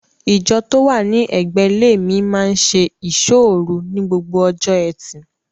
Ìjọ tó wà ní ẹ̀gbẹ́ ilé mi máa n ṣe ìsọ́ òru ní gbogbo ọjọ́ ẹtì.